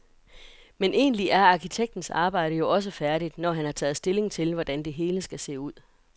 Men egentlig er arkitektens arbejde jo også færdigt, når han har taget stilling til, hvordan det hele skal se ud.